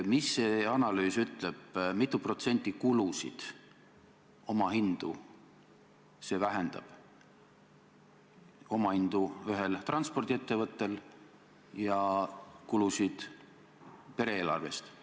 Mida see analüüs ütleb, mitu protsenti kulusid ja omahinda see vähendab – omahinda ühel transpordiettevõttel ja kulusid pere eelarves?